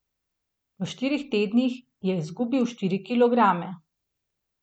V štirih tednih je izgubil štiri kilograme.